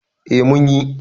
eh mun yi